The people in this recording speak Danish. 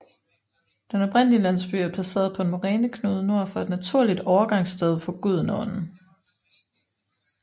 Den oprindelige landsby er placeret på en moræneknude nord for et naturligt overgangssted på Gudenåen